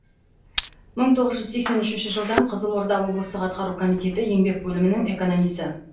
мың тоғыз жүз сексен үшінші жылдан қызылорда облыстық атқару комитеті еңбек бөлімінің экономисі